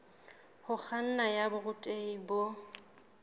ho kganna ya borutehi bo